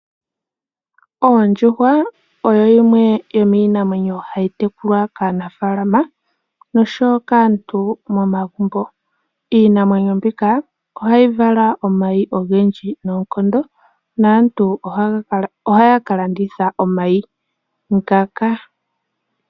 Ondjuhwa oyo yimwe yomiinamwenyo hayi tekulwa kaanafalama noshowo kaantu momagumbo. Iinamwenyo mbika ohayi vala omayi ogendji noonkondo, naantu ohaya ka landitha omayi ngaka.